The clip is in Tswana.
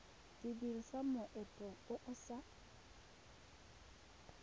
dirisa moento o o sa